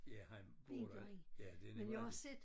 Ja han bor der ja det nemlig rigtigt